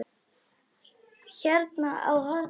Hérna á hornið.